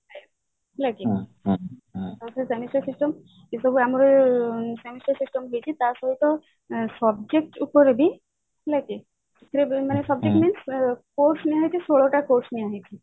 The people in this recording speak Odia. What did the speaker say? ହେଲା କି semester system ଏଇ ସବୁ semester system ହେଇଛି ତା ସହିତ subject ଉପରେ ବି ହେଲା କି ମାନେ subject means course ନିଆ ହେଇଛି ଷୋଳଟା course ନିଆ ହେଇଛି